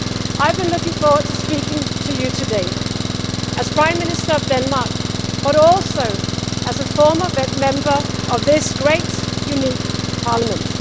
I have been looking forward to speaking to you today as Prime Minister of Denmark but also as a former member of this great, unique Parliament.